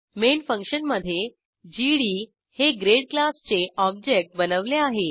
main function मधे GD हे grade क्लासचे ऑब्जेक्ट बनवले आहे